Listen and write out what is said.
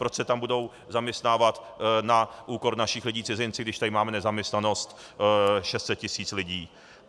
Proč se tam budou zaměstnávat na úkor našich lidí cizinci, když tady máme nezaměstnanost 600 tis. lidí.